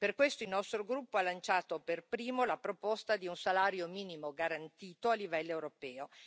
Per questo il nostro gruppo ha lanciato per primo la proposta di un salario minimo garantito a livello europeo.